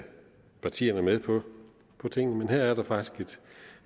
partierne med på tingene men her er der faktisk et